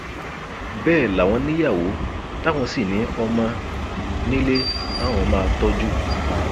bẹẹ làwọn níyàwó táwọn sì ní ọmọ nílé táwọn máa tọjú